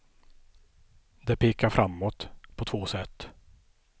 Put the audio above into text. Det pekar framåt på två sätt.